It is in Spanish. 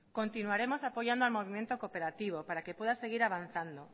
continuaremos apoyando al movimiento cooperativo para que pueda seguir avanzando